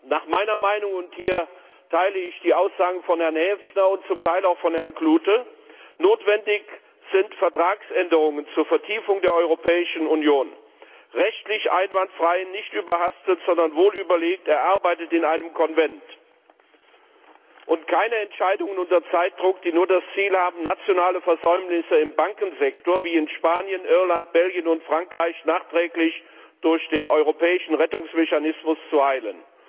Nach meiner Meinung und hier teile ich die Aussagen von Herrn Häfner und zum Teil auch von Herrn Klute sind Vertragsänderungen zur Vertiefung der Europäischen Union notwendig rechtlich einwandfrei, nicht überhastet, sondern wohlüberlegt, erarbeitet in einem Konvent und keine Entscheidungen unter Zeitdruck, die nur das Ziel haben, nationale Versäumnisse im Bankensektor wie in Spanien, Irland, Belgien und Frankreich nachträglich durch den europäischen Rettungsmechanismus zu heilen.